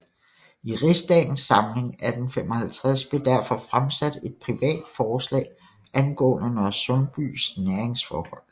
I rigsdagens samling 1855 blev derfor fremsat et privat forslag angående Nørresundbys næringsforhold